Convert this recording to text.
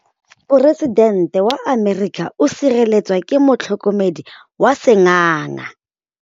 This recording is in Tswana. Poresitêntê wa Amerika o sireletswa ke motlhokomedi wa sengaga.